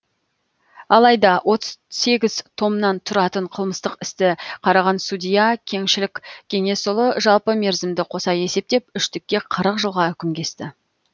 алайда отыз сегіз томнан тұратын қылмыстық істі қараған судья кеңшілік кеңесұлы жалпы мерзімді қоса есептеп үштікке қырық жылға үкім кесті